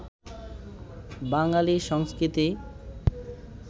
বাঙালী সংস্কৃতি